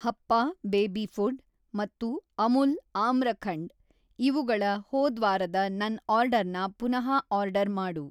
ಹಪ್ಪ baby food ಮತ್ತು ಅಮುಲ್ ಆಮ್ರಖಂಡ್ ಇವುಗಳ ಹೋದ್ವಾರದ ನನ್‌ ಆರ್ಡರ್‌ನ ಪುನಃ ಆರ್ಡರ್‌ ಮಾಡು.